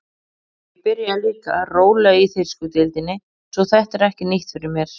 Ég byrjaði líka rólega í þýsku deildinni svo þetta er ekki nýtt fyrir mér.